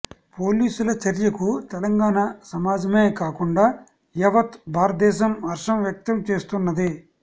పోలీసుల చర్యకు తెలంగాణ సమాజమే కాకుండా యావత్ భారత దేశం హర్షం వ్యక్తం చేస్తున్నది